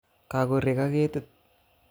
Kakorek ak ketit